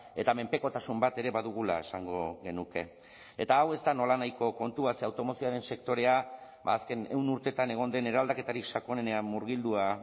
eta menpekotasun bat ere badugula esango genuke eta hau ez da nolanahiko kontua ze automozioaren sektorea azken ehun urteetan egon den eraldaketarik sakonenean murgildua